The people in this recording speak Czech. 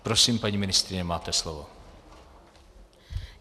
Prosím, paní ministryně, máte slovo.